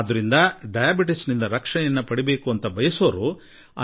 ಹಾಗೂ ಈ ಕಾರಣಕ್ಕಾಗಿಯೇ ಎಲ್ಲರೂ ಮಧುಮೇಹದಿದ ಪಾರಾಗಲು ಬಯಸುತ್ತಾರೆ